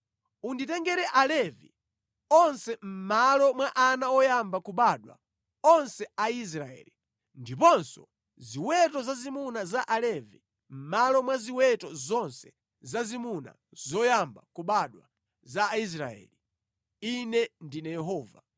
Unditengere Alevi onse mʼmalo mwa ana oyamba kubadwa onse a Aisraeli, ndiponso ziweto zazimuna za Alevi mʼmalo mwa ziweto zonse zazimuna zoyamba kubadwa za Aisraeli. Ine ndine Yehova.”